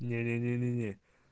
не-не-не